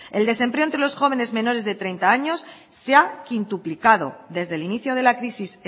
el desempleo entre los jóvenes menores de treinta años se ha quintuplicado desde el inicio de la crisis